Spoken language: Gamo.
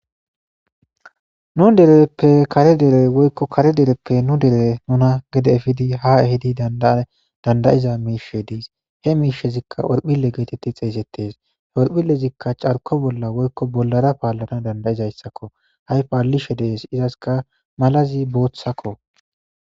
nu dereppe kare dere woykko kare dereppe nu dere nuna gede efidi ha ehidi dandayiza miishe diis he miishezikka orphile geetetti xeeysettes h orphilezikka carko bolla woykko bollara paallana dandayizayssakko hay paallishe dees izaska malazi booththakko